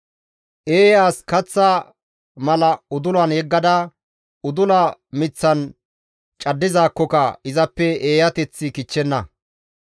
Eeya as kaththa mala udulan yeggada, udula miththan caddizaakkoka izappe eeyateththi kichchenna.